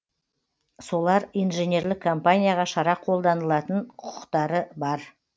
солар инженерлік компанияға шара қолданылатын құқықтары бар